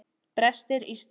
Brestir í stiga.